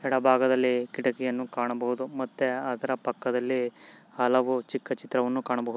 ಎಡ ಭಾಗದಲ್ಲಿ ಕಿಟಕಿ ಕಾಣಬಹುದು ಮತ್ತೆ ಪಕ್ಕಾ ದಲ್ಲಿ ಚಿಕ್ಕ ಚಿತ್ರವನ್ನು ನೋಡಬಹುದು.